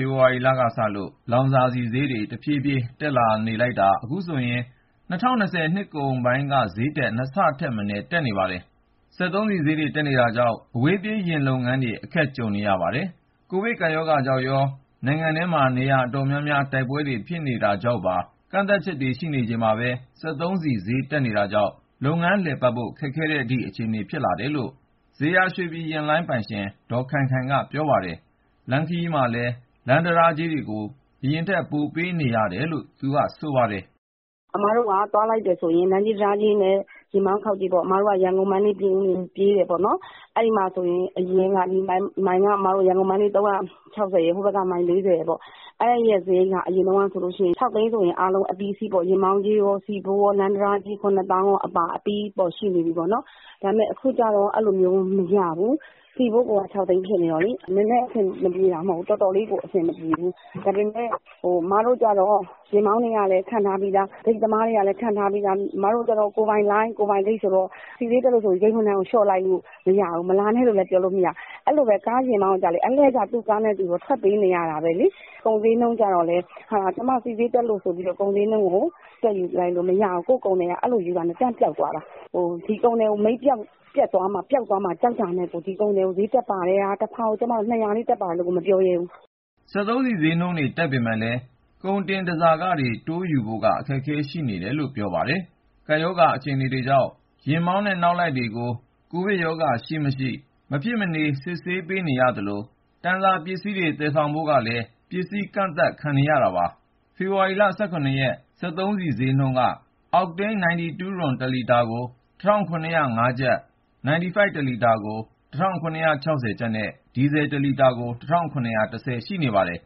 ဖေဖော်ဝါရီလကစလို့ လောင်စာဆီဈေးတွေ တဖြည်းဖြည်းတက်နေတာ အခုဆိုရင် ၂၀၂၀ နှစ်ကုန်ပိုင်းက ဈေးထက် ၂ ဆထက်မနည်း တက်နေပါတယ်။ စက်သုံးဆီဈေးတွေ တက်နေတာကြောင့် အဝေးပြေးယာဉ်လုပ်ငန်းတွေ အခက်တေ့ွနေကြပါတယ်။ ကိုဗစ်ကပ်ရောဂါကြောင့်ရော နိုင်ငံထဲ နေရာတော်တော်များများမှာ တိုက်ပွဲတွေဖြစ်နေတာကြောင့်ပါ ကန့်သတ်ချက်တွေရှိနေချိန်မှာပဲ စက်သုံးဆီဈေး တက်နေတာကြောင့် လုပ်ငန်းလည်ပတ်ဖို့ ခက်ခဲတဲ့အထိ အခြေအနေဖြစ်နေတယ်လို့ ဇေယျာရွှေပြည်ယာဉ်လိုင်း ပိုင်ရှင် ဒေါ် ခိုင်ခိုင်က ပြောပါတယ်။ လမ်းခရီးမှာ လမ်းတံတားကြေးတွေကိုလည်း ပိုပေးနေရတယ်လို့ သူက ခုလိုပြောပါတယ်။ "အစ်မတို့က သွားလိုက်တယ်ဆိုရင် လမ်းကြေး၊ တံတားကြေးနဲ့ ယာဉ်မောင်းခေါက်ကြေးပေါ့။ အစ်မတို့က ရန်ကုန်၊ မန္တလေး၊ ပြင်ဦးလွင် ပြေးတာပေါ့နော်။ အဲဒီမှာဆိုရင် အရင်းက ရန်ကုန် - မန္တလေး မိုင်က ၃၆၀ ရယ်၊ ဟိုဘက်က မိုင် ၄၀ ရယ်ပေါ့။ အဲဒီရဲ့ စရိတ်က အရင်တုန်းကဆိုရင် ၆ သိန်းဆိုရင် အားလုံးအပြီးအစီးပေါ့။ ယာဉ်မောင်းကြေးရော၊ ဆီဖိုး ရော၊ လမ်း တံတားကြေး ၇ သောင်းအပါ အပြီး ရှိနေပြီပေါ့နော်။ ဒါပေမယ့် အခုကျတော့ အဲလိုမျိုး မရဘူး။ ဆီဖိုးကိုက ၆ သိန်းဖြစ်နေတော့လေ၊ နည်းနည်းအဆင်မပြေတာ မဟုတ်ဘူး၊ တော်တော်လေးကို အဆင်မပြေဘူး။ ဒါပေမယ့် အစ်မတို့ကျတော့ ယာဉ်မောင်းတွေကလည်း ခန့်ထားပြီးသား၊ ဂိတ်သမားတွေကလည်း ခန့်ထားပြီးသား။ အစ်မတို့ကျတော့ ကိုယ်ပိုင်လိုင်း၊ ကိုယ်ပိုင်ဂိတ်ဆိုတော့ ဆီဈေးတက်လို့ဆိုပြီး ဝန်ထမ်းကလျှော့လိုက်လို့ မရဘူး။ မလာနဲ့လို့လည်း ပြောလို့မရဘူး။ အဲလိုပဲ ယာဉ်မောင်းကိုကျတော့လည်း သူ့ကားနဲ့သူတော့ ထွက်ပေးနေရတာပဲလေ။ ကုန်ဈေးနှုန်းကျတော့လည်း ကျမတို့ဆီဈေးတက်လို့ ဆိုပြီးတော့ ကုန်ဈေးကို တက်ယူလိုက်လို့မရဘူး။ ကိုယ့် ကုန်သည်က အဲလိုယူတာနဲ့ တန်းပျောက်သွားတာ။ ဒီကုန်သည်ကို မိတ်ပျက်သွားမှာ ပျောက်သွားမှာ ကြောက်တာနဲ့ကို တဖာကို ၂၀၀ လေး တက်ပါတယ်လို့ကို မပြောရဲဘူး။" စက်သုံးဆီဈေးနှုန်းတွေ တက်ပေမယ့်လည်း ကုန်တင် တန်ဆာခတွေ တိုးယူဖို့က အခက်အခဲတွေ ရှိနေတယ်လို့ ပြောပါတယ်။ ကပ်ရောဂါအခြေအနေကြောင့် ယာဉ်မောင်းနဲ့ နောက်လိုက်တွေမှာ ကိုဗစ်ကပ်ရောဂါရှိ-မရှိ အခကြေးငွေပေးပြီး မဖြစ်မနေ စစ်ဆေး ခံနေရသလို၊ တန်ဆာ ပစ္စည်းတွေ သယ်ဆောင်ဖို့ကိုလည်း ပစ္စည်းကန့်သတ်ခံနေရတာပါ။ ဖေဖော်ဝါရီလ ၁၇ ရက် စက်သုံးဆီဈေးနှုန်းတွေက အောက်တိန်း 92 တလီတာကို ၁,၇၀၅ ကျပ်၊ 95 တလီတာ ၁,၇၆၀ ကျပ်နဲ့ ဒီဇယ် တလီတာကို ၁,၇၁၀ အထိ ရှိနေပါတယ်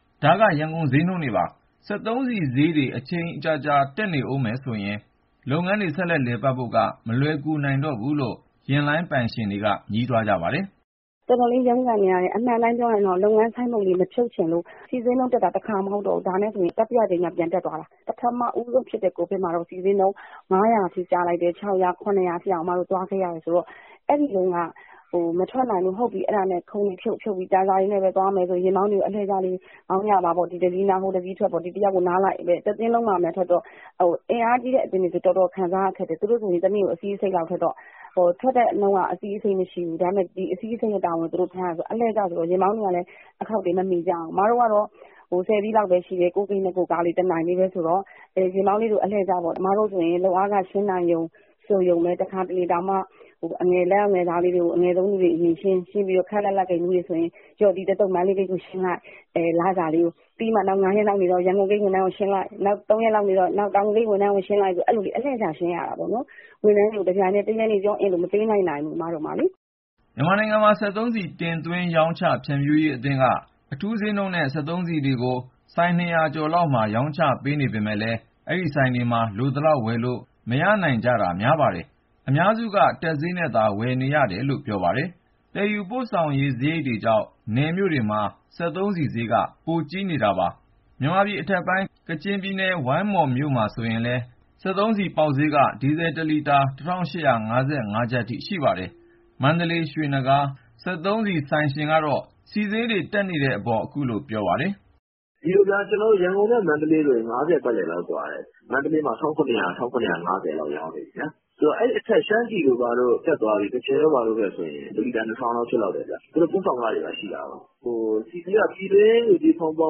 ။ ဒါက ရန်ကုန်ဈေးနှုန်းတွေပါ။ စက်သုံးဆီဈေးတွေ အချိန်ကြာကြာ တက်နေမယ်ဆိုရင် လုပ်ငန်းတွေ ဆက်လည်ပတ်နိုင်ဖို့က မလွယ်ကူတော့ဘူးလို့ ယာဉ်လိုင်းပိုင်ရှင်တွေက ညည်းတွားနေကြပါတယ်။ "တော်တော်လေး ရုန်းကန်နေရတယ်။ အမှန်တိုင်းပြောရရင်တော့ လုပ်ငန်း ဆိုင်းဘုတ်လေး မဖြုတ်ချင်လို့။ ဆီဈေးနှုန်းတက်တာက တခါ မဟုတ်တော့ဘူး။ ဒါနဲ့ဆိုရင် တတိယအကြိမ်မြောက် ပြန်တက်သွားတာ။ ပထမဦးဆုံးဖြစ်တဲ့ ကိုဗစ်မှာတုန်းက ဆီဈေးနှုန်း ၅၀၀၊ ၆၀၀၊ ၇၀၀ အထိတောင် အစ်မတို့ သွားခဲ့ရတယ်ဆိုတော့ အဲဒီတုန်းက မထွက်နိုင်လို့ ခုံတွေဖြုတ်ပြီး တန်ဆာနဲ့ပဲ သွားမယ်ဆိုပြီး ယာဉ်မောင်းတွေကို အလှည့်ကျလေး မောင်းကြပါပေါ့။ အင်အားကြီးတဲ့အသင်းတွေဆိုရင် တော်တော်ခံရတယ်။ သူတို့ဆိုရင် တနေ့ကို ၂၅ စီးလောက်ထွက်တော့ ထွက်တဲ့နှုန်းက အဲလောက်မရှိဘူး။ ဒါပေမယ့် ၂၅ စီးလုံးရဲ့ဝန်ကို သူတို့ ထမ်းရတယ်ဆိုတော့ ယာဉ်မောင်းတွေကလည်း အခေါက်တွေ မမီကြဘူး။ အစ်မတို့ကတော့ ၁၀ စီးလောက်ပဲရှိတယ်၊ ကိုယ့်ဂိတ်နဲ့ ကိုယ့်ကားလေး တနိုင်ပဲဆိုတော့ ယာဉ်မောင်းတွေကို အလှည့်ကျပေါ့။ အစ်မတို့ဆိုရင် လုပ်အားခ ရှင်းနိုင်တယ် ဆိုရုံလေးပဲ။ တခါတလေဆိုရင် အငယ်ဆုံး လုပ်သားလေးတွေကို အရင်ရှင်းပြီးတော့ ခပ်လတ်လတ် ဂိတ်မှူးတွေဆိုရင် ဒီတသုတ် မန္တလေးဂိတ်ကိုရှင်းလိုက်၊ နောက် ၅ ရက်လောက်နေမှ ရန်ကုန်ဂိတ် ဝန်ထမ်းတွေကို ရှင်းလိုက်။ နောက် ၃ ရက်လောက်နေတော့ တောင်ငူဂိတ် ဝန်ထမ်းကို ရှင်းလိုက်နဲ့ လစာကို အလှည့်ကျ ရှင်းရတာပေါ့နော်။ ဝန်ထမ်းတွေကို တပြိုင်တည်း တရက်တည်း လစာကို မပေးလိုက်နိုင်ဘူး အစ်မတို့မှာလေ။" မြန်မာနိုင်ငံ စက်သုံးဆီ တင်သွင်းရောင်းချ ဖြန့်ဖြူးရေးအသင်းက အထူးဈေးနှုန်းနဲ့ စက်သုံးဆီတွေကို ဆိုင် ၂၀၀ ကျော်လောက်မှာ ရောင်းချပေးနေပေမယ့်လည်း အဲဒီဆိုင်တွေမှာ လိုသလောက်ဝယ်လို့ မရနိုင်ကြတာ များပါတယ်။ အများစုက တက်ဈေးနဲ့သာ ဝယ်ယူနေရတာလို့ ပြောပါတယ်။ သယ်ယူပို့ဆောင်ရေးစရိတ်တွေကြောင့် နယ်မြို့တွေမှာ စက်သုံးဆီဈေးက ပိုများပါတယ်။ မြန်မာပြည်အထက်ပိုင်း ကချင်ပြည်နယ်၊ ဝိုင်းမော်မြို့မှာဆို ဒီနေ့ ဆီပေါက်ဈေးက ဒီဇယ်တလီတာ ၁,၈၅၅ ကျပ်အထိ ရှိပါတယ်။ မန္တလေး ရွှေနဂါး စက်သုံးဆီဆိုင်ရှင်ကတော့ စက်သုံးဆီဈေးတွေ တက်နေတဲ့အပေါ် သူ့အမြင်ကို ပြောပါတယ်။ "ဒီလိုဗျာ ကျနော်တို့ ရန်ကုန်နဲ့ မန္တလေးဆိုရင် ၅၀ ပတ်လည်လောက် ကွာတယ်။ မန္တလေးမှာ ၁,၇၀၀၊ ၁,၇၅၀ လောက် ရောင်းနေပြီဗျာ။ ဆိုတော့ အဲဒီအထက် ရှမ်းပြည်တို့ဘာတို့ တက်သွားပြီ၊ ကချင်တို့ဘာတို့ ဘက်ဆိုရင် ၁ လီတာ ၂,၀၀၀ လောက် ဖြစ်လောက်တယ်ဗျ။ သူတို့ ပို့ဆောင်ခတွေ ရှိတာကိုး။ ဆီဈေးက ပြည်တွင်းငွေကြေး ဖောင်းပွ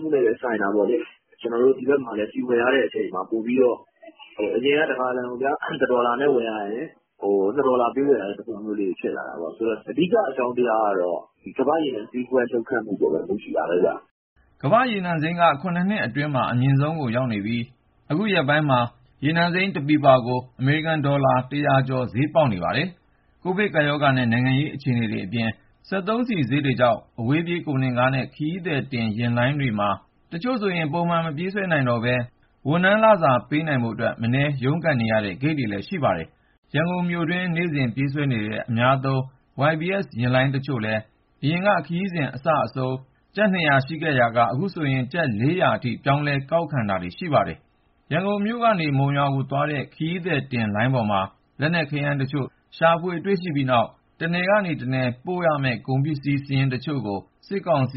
မှုနဲ့လည်း ဆိုင်တာပေါ့လေ။ ကျနော်တို့ ဒီဘက်မှာလည်း ဆီဝယ်ရတဲ့အချိန်မှာ ပိုပြီးတော့ အရင်က ၁ ဂါလံကိုဗျာ ၁ ဒေါ်လာနဲ့ ဝယ်ရရင် ခု ၂ ဒေါ်လာပေးဝယ်ရတဲ့ သဘောမျိုး ဖြစ်လာတာပေါ့။ ဆိုတော့ အဓိက အကြောင်းတရားကတော့ ဒီကမ္ဘာ့ရေနံ လှုပ်ခတ်မှုအပေါ်မှာပဲ မူတည်တာပဲဗျ။" ကမ္ဘာ့ရေနံစိမ်းက ၇ နှစ်အတွင်းမှာ အမြင့်ဆုံးကိုရောက်နေပြီး အခုရက်ပိုင်းမှာကို ရေနံစိမ်း တစည်ကို အမေရိကန်ဒေါ်လာ ၁၀၀ ကျော် ဈေးပေါက်နေပါတယ်။ ကိုဗစ်ကပ်ရောဂါနဲ့ နိုင်ငံရေးအခြေအနေတွေအပြင် စက်သုံးဆီဈေးတွေကြောင့် အဝေးပြေး ကုန်တင်ယာဉ်နဲ့ ခရီးသည်တင်ယာဉ်လိုင်းတွေမှာ တချို့ဆို ပုံမှန်မပြေးဆွဲနိုင်တော့ပဲ ဝန်ထမ်းလစာ ပေးနိုင်ဖို့အတွက် မနည်း ရုန်းကန်နေရတဲ့ ဂိတ်တွေလည်း ရှိပါတယ်။ ရန်ကုန်မြို့တွင်းမှာ နေ့စဉ်ပြေးဆွဲနေတဲ့ အများသုံး YBS ယာဉ်လိုင်းတချို့လည်း အရင်က ခရီးစဉ်အစအဆုံးကို ကျပ် ၂၀၀ ယူရာကနေ အခု ကျပ် ၄၀၀ အထိ ပြောင်းလဲ ကောက်ခံတာတွေ ရှိနေပါတယ်။ ရန်ကုန်ကနေ မုံရွာသွားတဲ့ ခရီးသည်ယာဉ်လိုင်းပေါ်မှာ လက်နက် ခဲယမ်းတချို့ ရှာဖွေတွေ့ရှိပြီးတဲ့နောက် တနယ်ကနေ တနယ်ကို ပို့ခွင့် မရှိတဲ့ တချို့ကုန်စည်စာရင်းကို စစ်ကောင်စီ